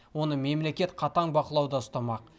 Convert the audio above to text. оны мемлекет қатаң бақылауда ұстамақ